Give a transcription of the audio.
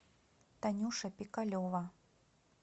танюша пикалева